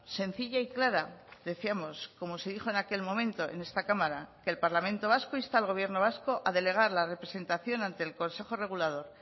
sencilla y clara decíamos como se dijo en aquel momento en esta cámara que el parlamento vasco insta al gobierno vasco a delegar la representación ante el consejo regulador